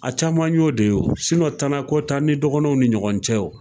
A caman y'o de ye wo. tana t'an ni dɔgɔnɔw ni ɲɔgɔn cɛ wo.